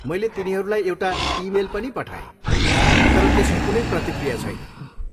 मैले तिनीहरूलाई एउटा इमेल पनि पठाएँ तर त्यसको कुनै प्रतिक्रिया छैन।